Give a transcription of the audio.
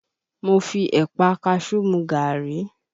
Mo fi Ẹ̀pà a kaṣú mu gaàrí